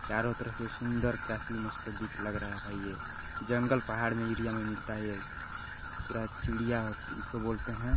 चारों तरह से सुंदर काफी मस्त दिख लग रहा है भाई ये जंगल पहाड़ में एरिया में मिलता है ये पूरा चिड़िया इसको बोलते है।